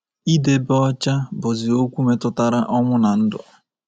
Idebe ọcha bụzi okwu metụtara ọnwụ na ndụ.